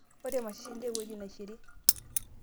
ore mashishi naa ewueji nashiri